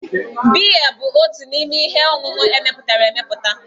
Biya bụ otu n'ime ihe ọṅụṅụ emepụtara emepụta.